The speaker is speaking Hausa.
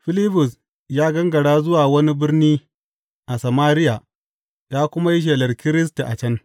Filibus ya gangara zuwa wani birni a Samariya ya kuma yi shelar Kiristi a can.